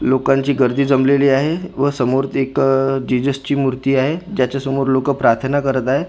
लोकांची गर्दी जमलेली आहे व समोरच एक आह जीजसची मूर्ती आहे ज्याच्यासमोर लोकं प्रार्थना करत आहे दिसायला--